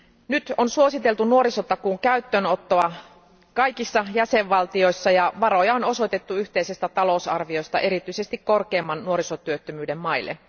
Nyt on suositeltu nuorisotakuun käyttöönottoa kaikissa jäsenvaltioissa ja varoja on osoitettu yhteisestä talousarviosta erityisesti korkeamman nuorisotyöttömyyden maille.